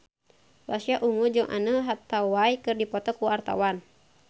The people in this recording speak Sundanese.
Pasha Ungu jeung Anne Hathaway keur dipoto ku wartawan